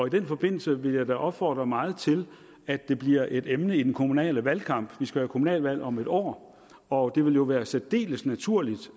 i den forbindelse vil jeg da opfordre meget til at det bliver et emne i den kommunale valgkamp vi skal jo have kommunalvalg om et år og det ville være særdeles naturligt